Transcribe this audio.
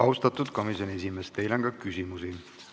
Austatud komisjoni esimees, teile on küsimusi.